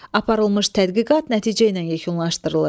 Aparılmış tədqiqat nəticə ilə yekunlaşdırılır.